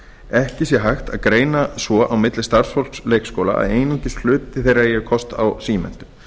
ekki sé hægt að greina svo á milli starfsfólks leikskóla að einungis hluti þeirra eigi kost á símenntun